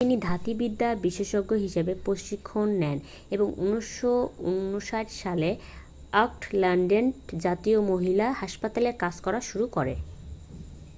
তিনি ধাত্রী বিদ্যা বিশেষজ্ঞ হিসেবে প্রশিক্ষণ নেন এবং 1959সালে অকল্যান্ডের জাতীয় মহিলা হাসপাতালে কাজ করা শুরু করেন